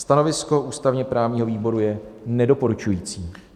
Stanovisko ústavně-právního výboru je nedoporučující.